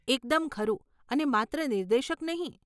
એકદમ ખરું, અને માત્ર નિર્દેશક નહીં.